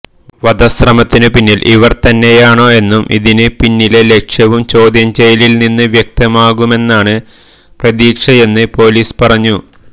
വധശ്രമത്തിന് പിന്നില് ഇവര് തന്നെയാണോ എന്നും ഇതിന് പിന്നിലെ ലക്ഷ്യവും ചോദ്യം ചെയ്യലില് നിന്ന് വ്യക്തമാകുമെന്നാണ് പ്രതീക്ഷയെന്ന് പൊലീസ് പറഞ്ഞു